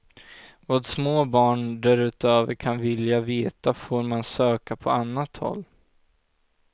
Vad små barn därutöver kan vilja veta får man söka på annat håll.